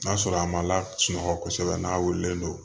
N'a sɔrɔ a ma lasunɔgɔ kosɛbɛ n'a wulilen do